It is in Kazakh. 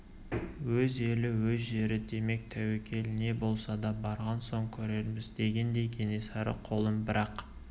өз елі өз жері демек тәуекел не болса да барған соң көрерміз дегендей кенесары қолын бір-ақ